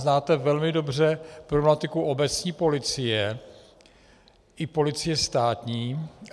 Znáte velmi dobře problematiku obecní policie i policie státní.